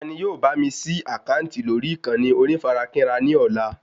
Ta ni yóò bá mi ṣí àkáǹtì lórí ìkànnì onífarakínra ní ọ̀la